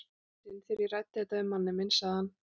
Eitt sinn þegar ég ræddi þetta við manninn minn sagði hann